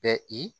Bɛ i